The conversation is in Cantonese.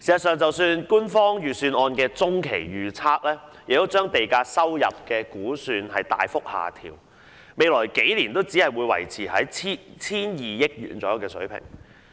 事實上，官方預算案的中期預測亦把地價收入估算大幅下調，未來數年只會維持在約 1,200 億元的水平。